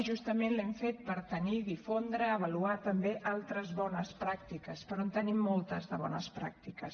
justament l’hem fet per tenir difondre i avaluar també altres bones pràctiques però en tenim moltes de bones pràctiques